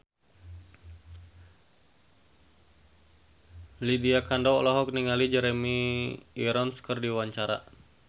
Lydia Kandou olohok ningali Jeremy Irons keur diwawancara